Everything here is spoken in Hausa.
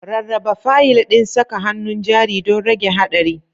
Rarraba fayil ɗin saka hannun jari don rage haɗari.